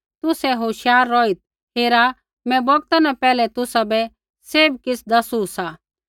तुसै होशियार रौहित् हेरा मैं बौगता न पैहलै तुसाबै सैभ किछ़ दैसू सा